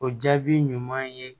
O jaabi ɲuman ye